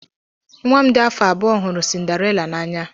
Nwa m dị afọ abụọ hụrụ Cinderella n'anya.